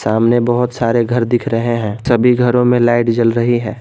सामने बहुत सारे घर दिख रहे हैं सभी घरों में लाइट जल रही है।